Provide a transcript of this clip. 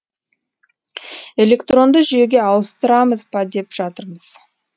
электронды жүйеге ауыстырамыз ба деп жатырмыз